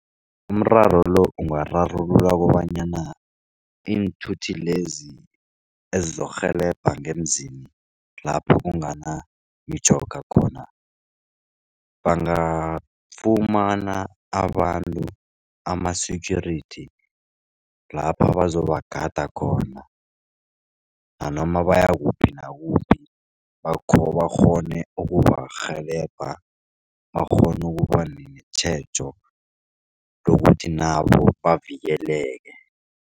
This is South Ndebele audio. Umraro lo ungararululwa kobanyana iinthuthi lezi ezokurhelebha ngeemzini lapho kunganamitjhoga khona. Bangafumana abantu ama-security lapha bazobagada khona nanoma bayakuphi nakuphi bakghone ukubarhelebha bakghone ukuba netjhejo lokuthi nabo bavikeleke.